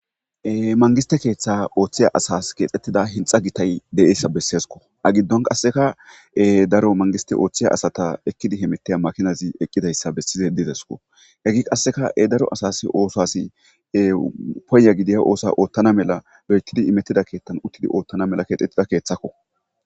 Mangiste kethas othiza asas kexetida hixa gitay de'iyasa besesko a gidon qaseka daro mangistes othiza asata ekidi hamutishe eqidaysa besizaysi didesko makinay desko heye qaseka daro asay otho paya gidida osuwa othana mala loitidi othana mala imetida osuwa kexetida kethako